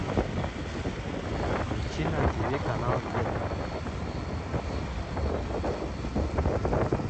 подключи на тиви канал еда